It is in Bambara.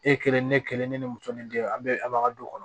E kelen ne kelen ne ni muso ni den an bɛɛ a b'a du kɔnɔ